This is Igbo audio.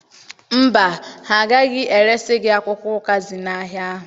Mba, ha agaghị eresi gị akwụkwọ ụkazị n'ahịa ahụ.